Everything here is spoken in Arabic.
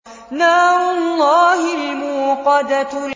نَارُ اللَّهِ الْمُوقَدَةُ